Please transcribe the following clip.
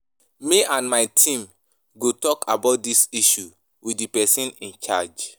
Me and my team go talk about dis issue with the person in charge